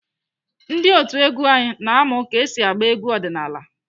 Ndị otu egwu anyị na-amụ ka esi agba egwu ọdịnaala.